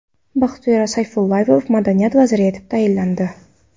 Baxtiyor Sayfullayev madaniyat vaziri etib tayinlandi.